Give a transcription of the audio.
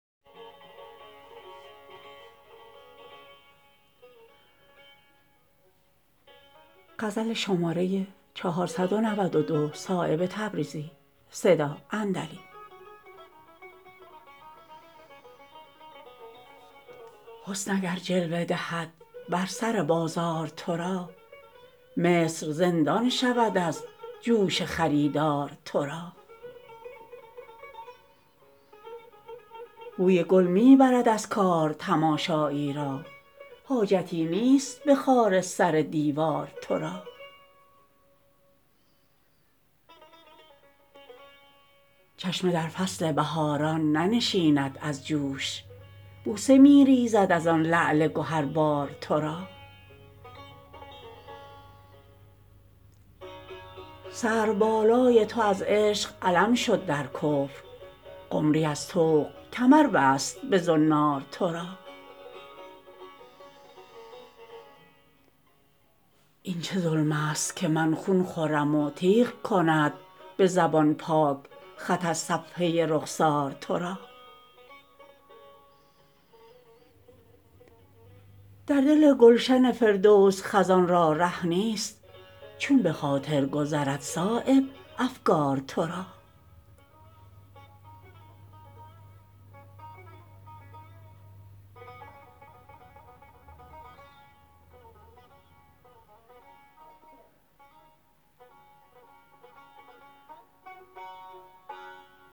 حسن اگر جلوه دهد بر سر بازار ترا مصر زندان شود از جوش خریدار ترا بوی گل می برد از کار تماشایی را حاجتی نیست به خار سر دیوار ترا چشمه در فصل بهاران ننشیند از جوش بوسه می ریزد ازان لعل گهربار ترا سرو بالای تو از عشق علم شد در کفر قمری از طوق کمر بست به زنار ترا این چه ظلم است که من خون خورم و تیغ کند به زبان پاک خط از صفحه رخسار ترا در دل گلشن فردوس خزان را ره نیست چون به خاطر گذرد صایب افگار ترا